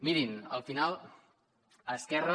mirin al final esquerra